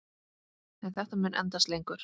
En þetta mun endast lengur.